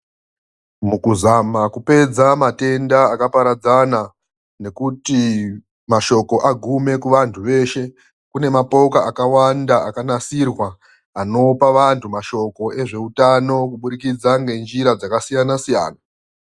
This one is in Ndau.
Mukuzama kupedza matenda akaparadzana nekuti mashoko agume kuvantu veshe, kune mapoka akawanda akanasirwa anopa vantu mashoko ezveutano kubudikidza ngenjira dzakasiyana siyana.